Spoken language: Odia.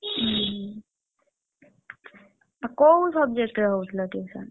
ଉଁ ହୁଁ ଆଉ କୋଉ subject ରେ ହଉଥିଲ tuition